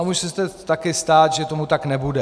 A může se taky stát, že tomu tak nebude.